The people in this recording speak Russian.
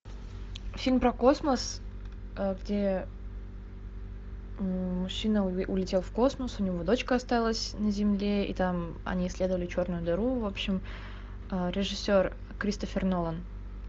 фильм про космос где мужчина улетел в космос у него дочка осталась на земле и там они исследовали черную дыру в общем режиссер кристофер нолан